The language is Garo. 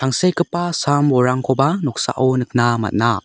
tangsekgipa sam-bolrangkoba noksao nikna man·a.